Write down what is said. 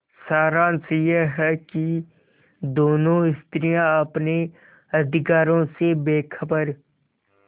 सारांश यह कि दोनों स्त्रियॉँ अपने अधिकारों से बेखबर